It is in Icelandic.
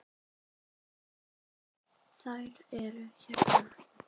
Þær eru hérna